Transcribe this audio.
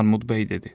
Armud bəy dedi: